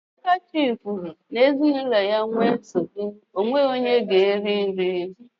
Akachi kwuru n'ezinụlọ ya nwee nsogbu, enweghị onye ga-eri nri.